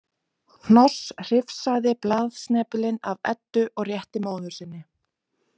Hnoss hrifsaði blaðsnepilinn af Eddu og rétti móður sinni.